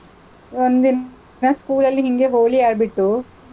ಒಂದಿನ school ಅಲ್ಲಿ ಹಿಂಗೆ ಹೋಳಿ ಆಡ್ಬಿಟ್ಟು,